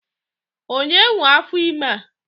Onye nwe afor ime a?